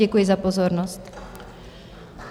Děkuji za pozornost.